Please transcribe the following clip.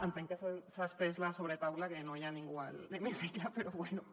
entenc que s’ha estès la sobretaula que no hi ha ningú a l’hemicicle però bueno